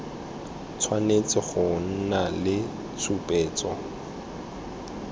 tshwanetse go nna le tshupetso